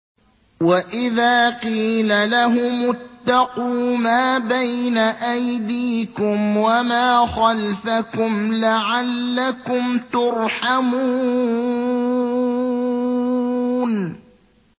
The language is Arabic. وَإِذَا قِيلَ لَهُمُ اتَّقُوا مَا بَيْنَ أَيْدِيكُمْ وَمَا خَلْفَكُمْ لَعَلَّكُمْ تُرْحَمُونَ